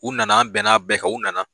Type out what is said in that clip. U nana an bɛnna bɛɛ kan u nana.